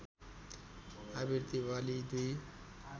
आवृत्ति वाली दुई